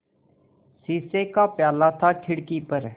शीशे का प्याला था खिड़की पर